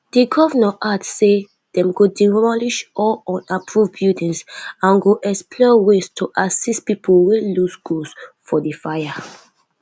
di govnor add say dem go demolish all unapproved buildings and go explore ways to assist pipo wey loss goods for di fire